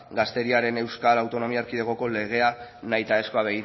gaztediaren euskal autonomia erkidegoko legea nahitaezkoa